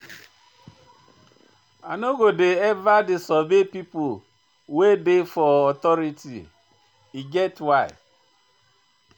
I no go eva disobey pipo wey dey for authority, e get why.